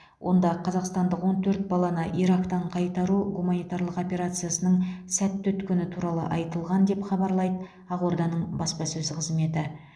онда қазақстандық он төрт баланы ирактан қайтару гуманитарлық операциясының сәтті өткені туралы айтылған деп хабарлайды ақорданың баспасөз қызметі